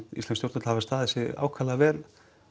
íslensk stjórnvöld hafa staðið sig ákaflega vel